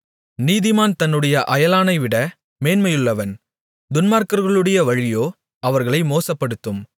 நீதிமான் தன்னுடைய அயலானைவிட மேன்மையுள்ளவன் துன்மார்க்கர்களுடைய வழியோ அவர்களை மோசப்படுத்தும்